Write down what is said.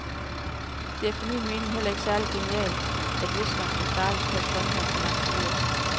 Det er efter min mening heller ikke særlig genialt, at viskeren skal startes, før sprinkleren kan aktiveres.